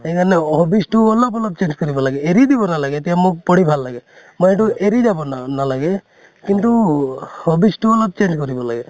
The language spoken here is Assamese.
হেই কাৰণে hobbies তো অলপ অলপ change কৰিব লাগে । এৰি দিব নালাগে । এতিয়া মোক পঢ়ি লাগে । মই এইটো এৰি যাব না নালাগে । কিন্তু hobbies তো অলপ change কৰিব লাগে ।